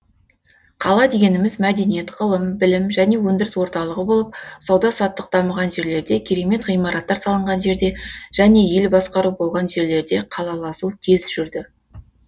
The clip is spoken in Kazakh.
қала дегеніміз мәдениет ғылым білім және өндіріс орталығы болып сауда саттық дамыған жерлерде керемет ғимараттар салынған жерде және ел басқару болған жерлерде қалаласу тез жүрді